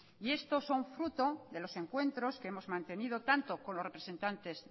y esto son fruto de los encuentros que hemos mantenido tanto con los representantes